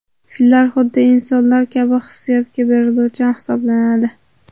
Fillar xuddi insonlar kabi hissiyotga beriluvchan hisoblanadi.